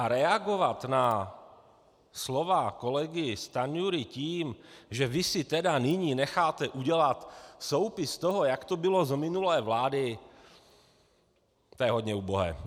A reagovat na slova kolegy Stanjury tím, že vy si tedy nyní necháte udělat soupis toho, jak to bylo za minulé vlády, to je hodně ubohé.